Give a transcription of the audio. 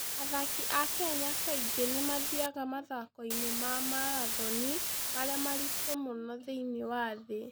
Athaki a Kenya kaingĩ nĩ mathiaga mathaako-inĩ ma marathoni marĩa maritũ mũno thĩinĩ wa thĩ.